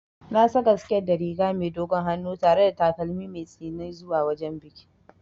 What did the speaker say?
Na saka siket da riga mai dogon hannu tare da takalmin mai tsini zuwa wajen bikin.